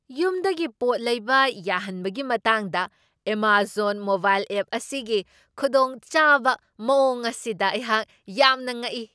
ꯌꯨꯝꯗꯒꯤ ꯄꯣꯠ ꯂꯩꯕ ꯌꯥꯍꯟꯕꯒꯤ ꯃꯇꯥꯡꯗ ꯑꯦꯃꯥꯖꯣꯟ ꯃꯣꯕꯥꯏꯜ ꯑꯦꯞ ꯑꯁꯤꯒꯤ ꯈꯨꯗꯣꯡꯆꯥꯕ ꯃꯋꯣꯡ ꯑꯁꯤꯗ ꯑꯩꯍꯥꯛ ꯌꯥꯝꯅ ꯉꯛꯏ꯫